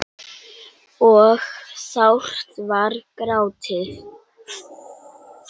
og sárt var grátið.